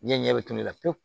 Diɲɛ ɲɛ bɛ tulu la pewu